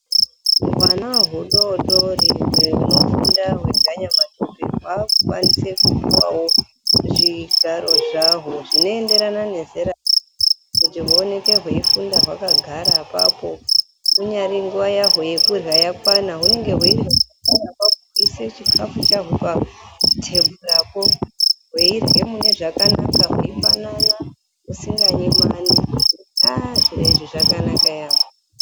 Hwana hudodori hunofunda hweganyamatope hwakukwanise kupuwawo zvigaro zvahwo zvinoenderana nezera, kuti huoneke hweifunda hwakagara apapo. Kunyari nguva yahwo yekurya yakwana, hunenge hweirya hweiise chikafu chahwo patebhurapo, hweirye mune zvakanaka, hweipanana, husinganyimani. Ah zviro izvi zvakanaka yaamho.